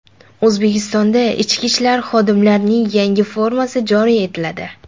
O‘zbekistonda ichki ishlar xodimlarining yangi formasi joriy etiladi.